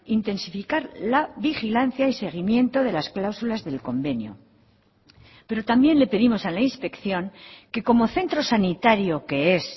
intensificar la vigilancia y seguimiento de las cláusulas del convenio pero también le pedimos a la inspección que como centro sanitario que es